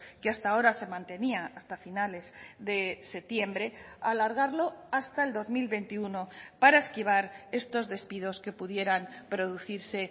que hasta ahora se mantenía hasta finales de septiembre alargarlo hasta el dos mil veintiuno para esquivar estos despidos que pudieran producirse